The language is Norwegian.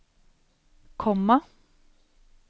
komma